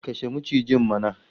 Kashe macijin mana!